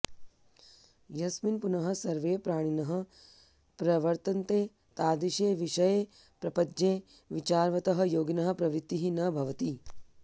यस्मिन् पुनः सर्वे प्राणिनः प्रवर्तन्ते तादृशे विषयप्रपञ्चे विचारवतः योगिनः प्रवृत्तिः न भवति